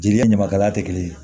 Jeli ye ɲamakalaya tɛ kelen ye